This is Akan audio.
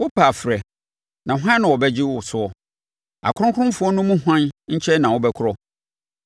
“Wopɛ a frɛ, na hwan na ɔbɛgye wo soɔ? Akronkronfoɔ no mu hwan nkyɛn na wobɛkorɔ?